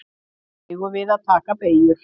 Eigum við að taka beygjur?